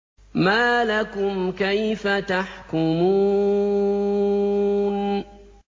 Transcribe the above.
مَا لَكُمْ كَيْفَ تَحْكُمُونَ